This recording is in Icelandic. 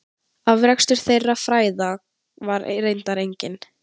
Afrakstur þeirra fræða var reyndar enginn.